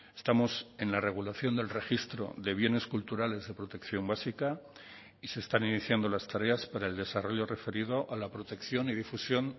estamos en la regulación del registro de bienes culturales de protección básica y se están iniciando las tareas para el desarrollo referido a la protección y difusión